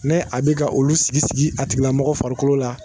Ne a bɛ ka olu sigi-sigi a tigilamɔgɔ farikolo la